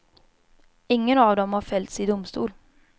Ingen av dem har fällts i domstol.